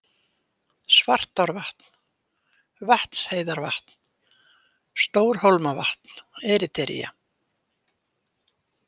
Svartárvatn, Vatnsheiðarvatn, Stórhólmavatn, Eritrea